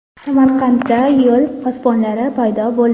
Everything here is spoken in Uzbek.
Samarqandda yo‘l posbonlari paydo bo‘ldi .